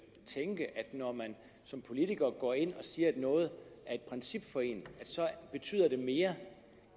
tænke at når man som politiker går ind og siger at noget er et princip for en betyder det mere